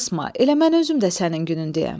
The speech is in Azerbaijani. Ürəyini qısma, elə mən özüm də sənin günündəyəm.